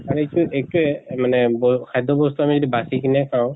আৰু এটো এইটোয়ে মানে ব খাদ্য় বস্তু আমি যদি বাচি কিনে খাওঁ